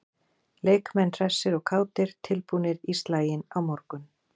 Leikmenn hressir og kátir- tilbúnir í slaginn á morgun.